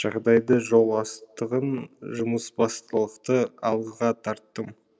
жағдайды жол алыстығын жұмысбастылықты алға тарттым